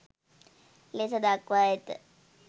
ලෙස දක්වා ඇත.